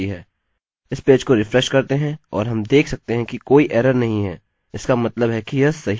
इस पेज को रिफ्रेश करते हैं और हम देख सकते हैं कि कोई एरर नहीं है इसका मतलब है कि यह सही है